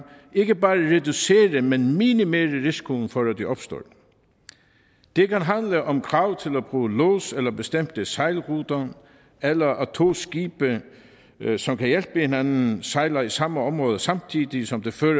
ikke bare kan reducere men minimere risikoen for at de opstår det kan handle om krav til at bruge lods eller bestemte sejlruter eller at to skibe som kan hjælpe hinanden sejler i samme område samtidig som det før